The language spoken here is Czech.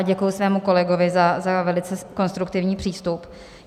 A děkuji svému kolegovi za velice konstruktivní přístup.